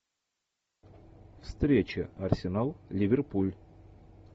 встреча арсенал ливерпуль